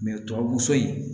tubabu so in